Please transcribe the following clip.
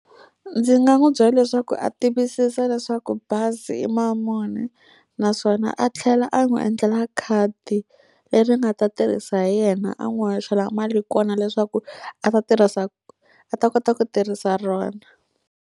Ndzi nga n'wi byela leswaku a tiyisisa leswaku bazi i mali muni, naswona a tlhela a n'wi endlela khadi leri nga ta tirhisa hi yena. A n'wi hoxela mali kona leswaku a ta tirhisa a ta kota ku tirhisa rona.